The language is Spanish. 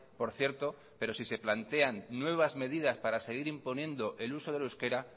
por cierto pero si se plantean nuevas medidas para seguir imponiendo el uso del euskera